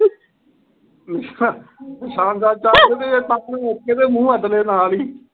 ਨਿਸ਼ਾਨ ਨਿਸ਼ਾਨ ਮੌਕੇ ਤੇ ਮੂੰਹ ਅੱਡ ਲੇ ਨਾਲ ਈ।